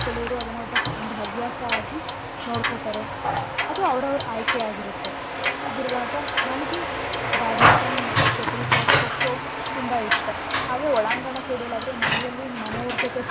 ಕೆಲವ್ರು ಅದ್ನಒಬ್~ ಒಂದು ಹವ್ಯಾಸ ಆಗಿ ನೋಡ್ಕೊತಾರೆ. ಅದು ಅವ್ರವ್ರ ಆಯ್ಕೆ ಆಗಿರತ್ತೆ. ಹೀಗಿರುವಾಗ ನನ್ಗೆ badminton ಮತ್ತೇ shuttle cock ಖೋ ಖೋ ತುಂಬಾ ಇಷ್ಟ ಹಾಗೆ ಒಳಾಂಗಣ ಕ್ರೀಡೆಲಾದ್ರೆ ಮನೆಯಲ್ಲಿ ಮನೆಯವ್ರ್ ಜೊತೆ.